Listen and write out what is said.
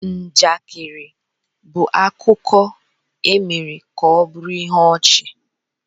Njakịrị bụ akụkọ e mere ka ọ bụrụ ihe ọchị.